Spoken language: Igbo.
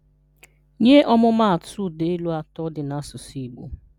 Nye ọmụmatụ ụdaelu atọ dị n'asụsụ Igbo